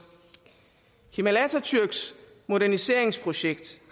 kemal atatürks moderniseringsprojekt